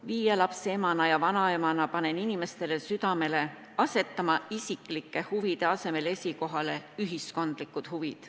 Viie lapse emana ja vanaemana panen inimestele südamele asetada isiklike huvide asemel esikohale ühiskondlikud huvid.